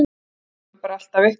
Það kemur bara alltaf eitthvað.